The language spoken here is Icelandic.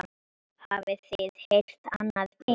Hafið þið heyrt annað eins?